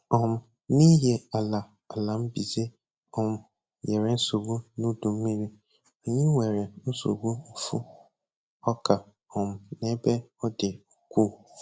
um N'ihi ala ala mbize um nyere nsogbu n'udu mmiri, anyị nwere nsogbu mfu ọka um n'ebe ọ dị ukwuu